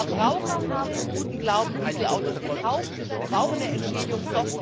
Die Verbraucher haben im guten Glauben Dieselautos gekauft und brauchen eine Entschädigung.